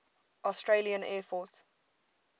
australian air force